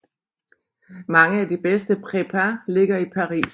Mange af de bedste prépas ligger i Paris